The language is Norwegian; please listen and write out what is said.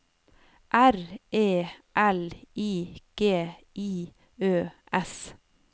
R E L I G I Ø S